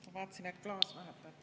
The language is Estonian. Ma vaatasin, et klaas vahetati ära.